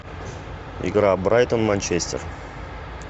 игра брайтон манчестер